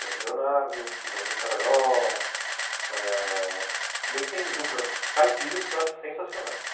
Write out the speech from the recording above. Leandro e Leonardo, Chitãozinho e Xororó... eh...Se bem que tem duplas caipiras que eu acho sensacionais.